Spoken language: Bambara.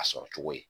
A sɔrɔ cogo ye